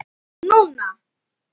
Ég sé það núna!